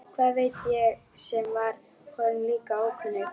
Hvað veit ég sem var honum líka ókunnug.